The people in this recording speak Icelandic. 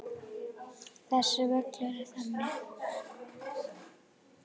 Þessi völlur er þannig.